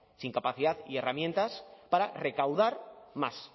sin capacidad y herramientas para recaudar más